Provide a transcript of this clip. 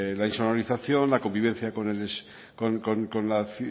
la insonorización la convivencia